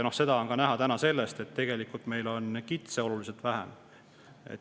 Seda on täna näha ka sellest, et tegelikult meil on kitsi oluliselt vähem.